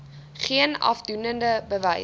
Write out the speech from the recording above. geen afdoende bewys